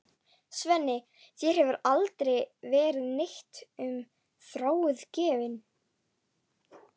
Svenni, þér hefur aldrei verið neitt um Þráin gefið.